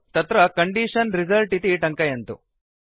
तत्र condition result इति टङ्कयन्तु